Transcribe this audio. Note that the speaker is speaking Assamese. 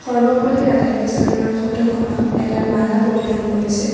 সৰ্বপল্লী ৰাধাকৃষ্ণণৰ ফটোখনত এডাল মালা পৰিধান কৰিছে।